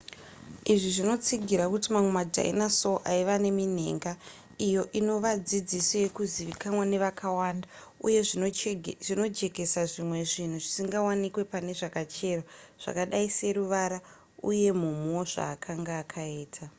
izvi zvinotsigira kuti mamwe madinosaur aiva neminhenga iyo inova dzidziso yavakuzivikanwa nevakawanda uye zvinojekesa zvimwe zvinhu zvisingawanikwe pane zvakacherwa zvakadai seruvara uye mumhu wezvaakanga akaita